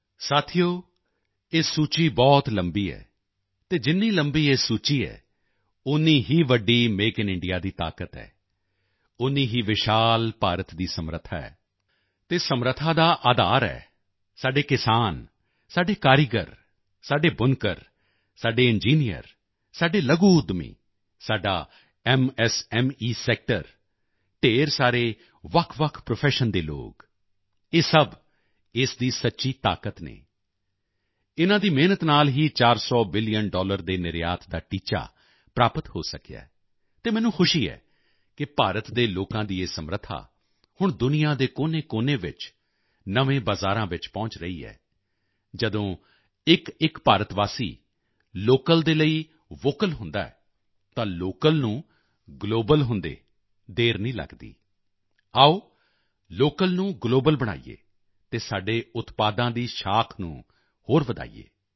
ਸਾਥੀਓ ਇਹ ਸੂਚੀ ਬਹੁਤ ਲੰਬੀ ਹੈ ਅਤੇ ਜਿੰਨੀ ਲੰਬੀ ਇਹ ਸੂਚੀ ਹੈ ਓਨੀ ਹੀ ਵੱਡੀ ਮੇਕ ਇਨ ਇੰਡੀਆ ਦੀ ਤਾਕਤ ਹੈ ਓਨੀ ਹੀ ਵਿਸ਼ਾਲ ਭਾਰਤ ਦੀ ਸਮਰੱਥਾ ਹੈ ਅਤੇ ਸਮਰੱਥਾ ਦਾ ਅਧਾਰ ਹੈ ਸਾਡੇ ਕਿਸਾਨ ਸਾਡੇ ਕਾਰੀਗਰ ਸਾਡੇ ਬੁਨਕਰ ਸਾਡੇ ਇੰਜੀਨੀਅਰ ਸਾਡੇ ਲਘੂ ਉੱਦਮੀ ਸਾਡਾ ਐਮਐਸਐਮਈ ਸੈਕਟਰ ਢੇਰ ਸਾਰੇ ਵੱਖਵੱਖ ਪ੍ਰੋਫੈਸ਼ਨ ਦੇ ਲੋਕ ਇਹ ਸਭ ਇਸ ਦੀ ਸੱਚੀ ਤਾਕਤ ਹਨ ਇਨ੍ਹਾਂ ਦੀ ਮਿਹਨਤ ਨਾਲ ਹੀ 400 ਬਿਲੀਅਨ ਡਾਲਰ ਦੇ ਨਿਰਯਾਤ ਦਾ ਟੀਚਾ ਪ੍ਰਾਪਤ ਹੋ ਸਕਿਆ ਹੈ ਅਤੇ ਮੈਨੂੰ ਖੁਸ਼ੀ ਹੈ ਕਿ ਭਾਰਤ ਦੇ ਲੋਕਾਂ ਦੀ ਇਹ ਸਮਰੱਥਾ ਹੁਣ ਦੁਨੀਆ ਦੇ ਕੋਨੇਕੋਨੇ ਵਿੱਚ ਨਵੇਂ ਬਜ਼ਾਰਾਂ ਚ ਪਹੁੰਚ ਰਹੀ ਹੈ ਜਦੋਂ ਇੱਕਇੱਕ ਭਾਰਤ ਵਾਸੀ ਲੋਕਲ ਦੇ ਲਈ ਵੋਕਲ ਹੁੰਦਾ ਹੈ ਤਾਂ ਲੋਕਲ ਨੂੰ ਗਲੋਬਲ ਹੁੰਦੇ ਦੇਰ ਨਹੀਂ ਲਗਦੀ ਆਓ ਲੋਕਲ ਨੂੰ ਗਲੋਬਲ ਬਣਾਈਏ ਅਤੇ ਸਾਡੇ ਉਤਪਾਦਾਂ ਦੀ ਸਾਖ਼ ਨੂੰ ਹੋਰ ਵਧਾਈਏ